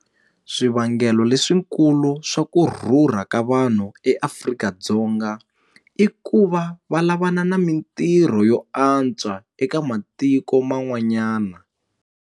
Swivangelo leswikulu swa ku rhurha ka vanhu eAfrika-Dzonga i ku va va lavana na mitirho yo antswa eka matiko man'wanyana.